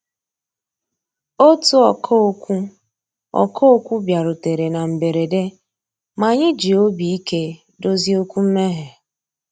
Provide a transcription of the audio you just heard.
Ótú ọ̀kà òkwú ọ̀kà òkwú bìàrùtérè ná mbérèdé, mà ànyị́ jì òbí íké dòzié òkwú mméghé.